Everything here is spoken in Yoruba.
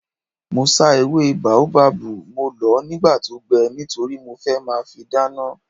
Mo sá ewé bóábábù, mo lọ̀ọ́ nígbà tó gbẹ nítorí mo fẹ́ máa fi dáná